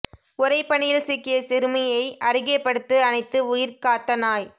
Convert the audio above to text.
உறைபனியில் சிக்கிய சிறுமியை அருகே படுத்து அணைத்து உயிர் காத்த நாய்